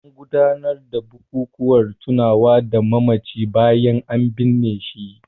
An gudanar da bukukuwan tunawa da mamacin bayan an binne shi.